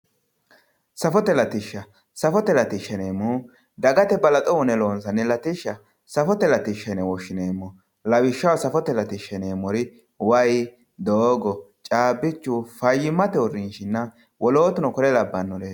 Safote latishsha safote latishshaati yineemmohu dagate balaxo uyiine loonsanni latishsha safote latishshaati yine wishshineemmo lawishshaho wayi doogo caabbichu fayyimmate uurrinshinna woloottuno kuri labbannore